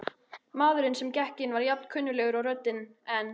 Maðurinn sem inn gekk var jafn kunnuglegur og röddin, en